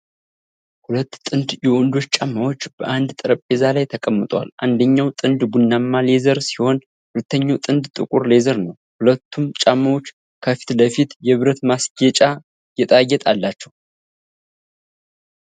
ሁለት ጥንድ የወንዶች ጫማዎች በአንድ ጠረጴዛ ላይ ተቀምጠዋል። አንደኛው ጥንድ ቡናማ ሌዘር ሲሆን ሁለተኛው ጥንድ ጥቁር ሌዘር ነው። ሁለቱም ጫማዎች ከፊት ለፊት የብረት ማስጌጫ ጌጣጌጥ አላቸው።